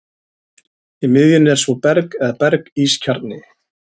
Í miðjunni er svo berg eða berg-ís kjarni.